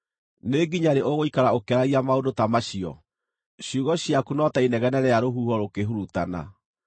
“Nĩ nginya rĩ ũgũikara ũkĩaragia maũndũ ta macio? Ciugo ciaku no ta inegene rĩa rũhuho rũkĩhurutana.